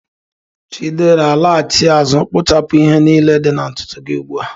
Chidera, laghachi azụ kpuchapụ ihe niile dị na ntutu gị ugbu a.